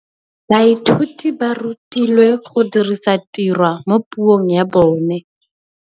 Baithuti ba rutilwe go dirisa tirwa mo puong ya bone.